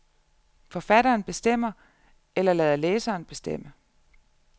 Forfatteren bestemmer eller lader læseren bestemme.